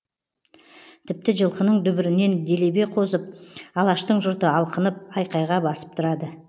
тіпті жылқының дүбірінен делебе қозып алаштың жұрты алқынып айқайға басып тұрады